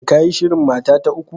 Shin ka yi shirin mata ta uku?